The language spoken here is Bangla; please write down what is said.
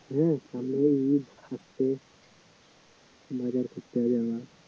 হ্যা সামনে তো ইদ বাজার করতে হবে